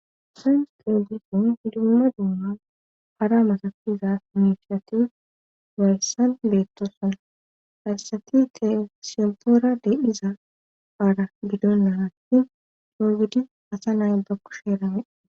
San qeogison hiduma duuman hara matafiza inifiyatiu wayssan leettosana hayssati tesifoora de7iza aala gidonna hatti doygidi asa naaylbakko sheerane